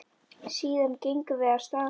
Síðan gengum við af stað.